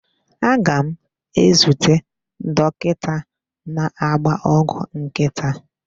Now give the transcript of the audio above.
Aga m ezute dokita na-agba ọgwụ nkịta.